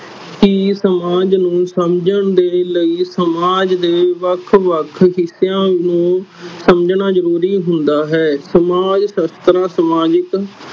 ਕੀ ਸਮਾਜ ਨੂੰ ਸਮਝਣ ਦੇ ਲਈ ਸਮਾਜ ਦੇ ਵੱਖ ਵੱਖ ਹਿਸਿਆਂ ਨੂੰ ਸਮਝਣਾ ਜ਼ਰੂਰੀ ਹੁੰਦਾ ਹੈ ਸਮਾਜ ਸਸਥਰਾ ਸਮਾਜਿਕ